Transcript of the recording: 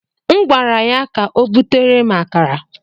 M gwara ya ka o butere m akara.